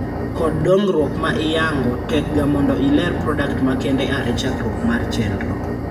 Kod dongruok ma iyango, tek ga mondo ileer product ma kende aare chakruok mar chendro